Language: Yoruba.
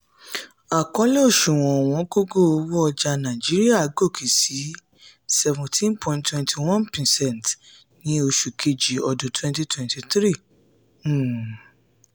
àkọlé òṣùwò̀n ọ̀wọ́ngógó owó ọjà nàìjíríà gòkè sí seventeen point two one percent ní oṣù kejì ọdun twenty twenty three. um